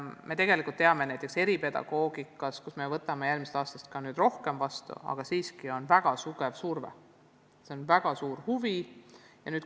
Me teame, et eripedagoogikasse on järgmisest aastast suurem vastuvõtt, sest haridusnõudlus selles valdkonnas pidevalt kasvab.